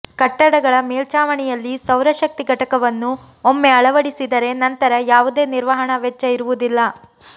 ಕಟ್ಟಡಗಳ ಮೇಲ್ಛಾವಣಿಯಲ್ಲಿ ಸೌರಶಕ್ತಿ ಘಟಕವನ್ನು ಒಮ್ಮೆ ಅಳವಡಿಸಿದರೆ ನಂತರ ಯಾವುದೇ ನಿರ್ವಹಣಾ ವೆಚ್ಚ ಇರುವುದಿಲ್ಲ